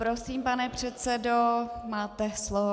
Prosím, pane předsedo, máte slovo.